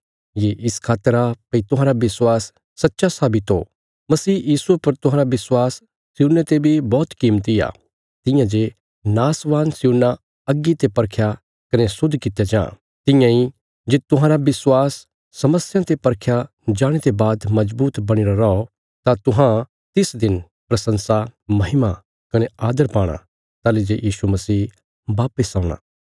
ये इस खातर आ भई तुहांरा विश्वास सच्चा साबित हो मसीह यीशुये पर तुहांरा विश्वास सियुने ते बी बौहत कीमती आ तियां जे नाशवान सियुना अग्गी ते परखया कने शुद्ध कित्या जां तियां इ जे तुहांरा विश्वास समस्यां ते परखया जाणे ते बाद मजबूत बणीरा रौ तां तुहां तिस दिन प्रशंसा महिमा कने आदर पाणा ताहली जे यीशु मसीह वापस औणा